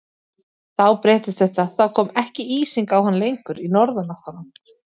Þá breyttist þetta, þá kom ekki ísing á hann lengur í norðanáttunum.